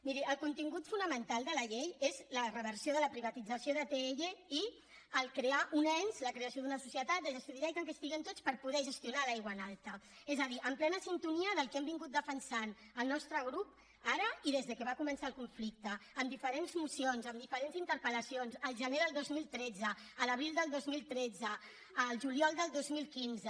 miri el contingut fonamental de la llei és la reversió de la privatització d’atll i crear un ens la creació d’una societat de gestió directa en què estiguem tots per poder gestionar l’aigua en alta és a dir en plena sintonia amb el que hem defensat el nostre grup ara i des que va començar el conflicte amb diferents mocions amb diferents interpel·lacions al gener del dos mil tretze a l’abril del dos mil tretze al juliol del dos mil quinze